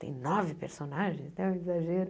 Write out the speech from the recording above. Tem nove personagens, né um exagero.